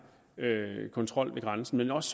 kontrol ved grænsen men også